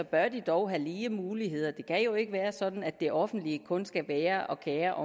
bør de dog have lige muligheder det kan jo ikke være sådan at det offentlige kun skal være og kere